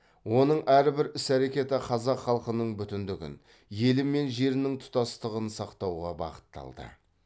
оның әрбір іс әрекеті қазақ халқының бүтіндігін елі мен жерінің тұтастығын сақтауға бағытталды